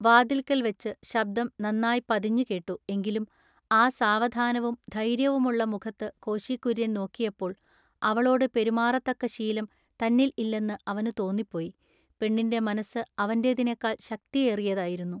വാതിൽക്കൽ വച്ചു ശബ്ദം നന്നാ പതിഞ്ഞു കേട്ടു എങ്കിലും ആ സാവധാനവും ധൈൎയ്യവുമുള്ള മുഖത്തു കോശികുൎയ്യൻ നോക്കിയപ്പോൾ അവളോടു പെരുമാറത്തക്ക ശീലം തന്നിൽ ഇല്ലെന്നു അവനു തോന്നിപ്പോയി, പെണ്ണിന്റെ മനസ്സു അവന്റെതിനെക്കാൾ ശക്തിയേറിയതായിരുന്നു.